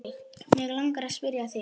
Mig langar að spyrja þig.